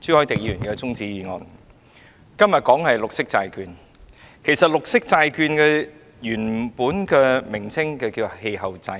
今天討論的議題是綠色債券，綠色債券的原名是氣候債券。